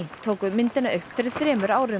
tóku myndina upp fyrir þremur árum